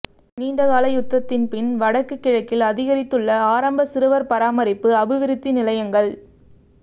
நீண்டகால யுத்தத்தின் பின் வடக்கு கிழக்கில் அதிகரித்துள்ள ஆரம்ப சிறுவர்பராமரிப்பு அபிவிருத்தி நிலையங்கள்